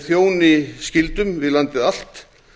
þjóni skyldum við landið allt